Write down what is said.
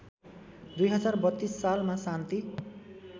२०३२ सालमा शान्ति